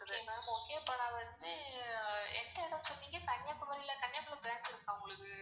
okay ma'am okay இப்போ வந்து எந்த இடம் சொன்னீங்க கன்னியாகுமாரி ல கன்னியாகுமாரி branch இருக்கா உங்களுக்கு?